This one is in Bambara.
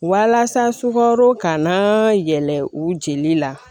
Walasa sukaro kana yɛlɛ u jeli la